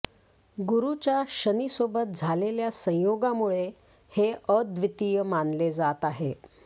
गुरुच्या शनि सोबत झालेल्या संयोगामुळे हे अद्वितीय मानले जात आहे